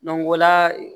o la